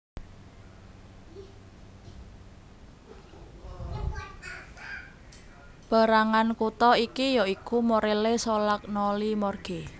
Pérangan kutha iki yaiku Morelle Solagnoli Morge